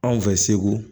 Anw fɛ segu